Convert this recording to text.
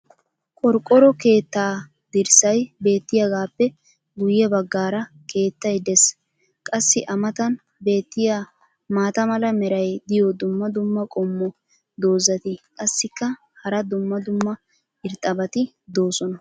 qorqqoro keettaa dirssay beetiyaagaappe guye bagaara keettay des. qassi a matan beetiya maata mala meray diyo dumma dumma qommo dozzati qassikka hara dumma dumma irxxabati doosona.